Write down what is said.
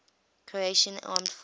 croatian armed forces